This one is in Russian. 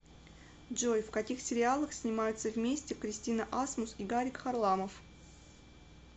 джой в каких сериалах снимаются вместе кристина асмус и гарик харламов